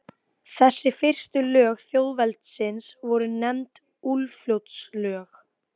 Hænsn hafa sem sagt eyrnasnepla þótt þau hafi ekki ytra eyra að öðru leyti.